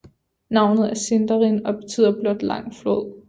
Navnet er Sindarin og betyder blot Lang flod